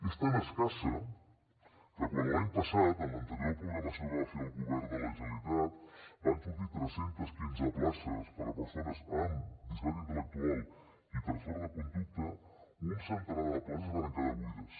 és tan escassa que quan l’any passat en l’anterior programació que va fer el govern de la generalitat van sortir tres cents i quinze places per a persones amb discapacitat intel·lectual i trastorn de conducta un centenar de places varen quedar buides